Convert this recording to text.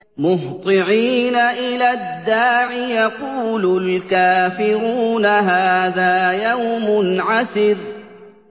مُّهْطِعِينَ إِلَى الدَّاعِ ۖ يَقُولُ الْكَافِرُونَ هَٰذَا يَوْمٌ عَسِرٌ